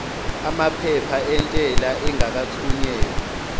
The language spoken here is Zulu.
amaphepha entela engakathunyelwa